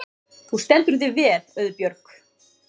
Þú stendur þig vel, Auðbjörg!